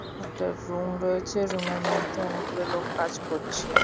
একটা রুম রয়েছে রুম -এর মধ্যে অনেক গুলো লোক কাজ করছে।